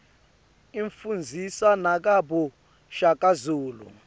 ifundzisa nagabo shaka zulu